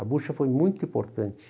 Bocha foi muito importante.